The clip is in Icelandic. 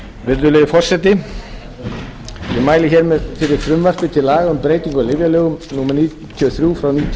virðulegi forseti ég mæli hér fyrir frumvarpi til laga um breytingu á lyfjalögum númer níutíu og þrjú nítján hundruð níutíu